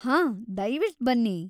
ಹಾ, ದಯ್ವಿಟ್‌ ಬನ್ನಿ.